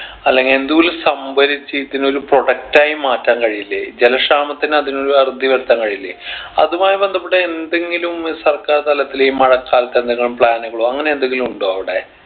അല്ലെങ്കിൽ എന്തോലം സംഭരിച്ച് ഇതിനൊരു product ആയി മാറ്റാൻ കഴിയില്ലേ ജല ക്ഷാമത്തിന് അതിനൊരു അറുതി വരുത്താൻ കഴിയില്ലേ അതുമായി ബന്ധപ്പെട്ട എന്തെങ്കിലും സർക്കാർ തലത്തിൽ ഈ മഴക്കാലത്ത് എന്തെങ്കിലും plan കളോ അങ്ങനെ എന്തെങ്കിലും ഉണ്ടോ അവിടെ